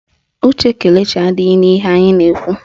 Uche Kelechi adịghị n'ihe anyị na-ekwu